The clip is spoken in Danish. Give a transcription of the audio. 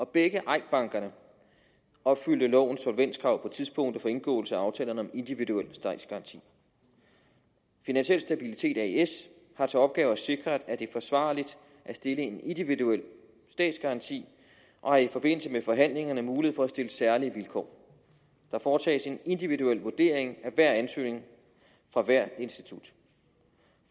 begge eik banker opfyldte lovens solvenskrav på tidspunktet for indgåelse af aftalerne om individuel statsgaranti finansiel stabilitet as har til opgave at sikre at det er forsvarligt at stille en individuel statsgaranti og har i forbindelse med forhandlingerne mulighed for at stille særlige vilkår der foretages en individuel vurdering af hver ansøgning fra hvert institut